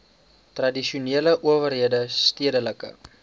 tradisionele owerhede stedelike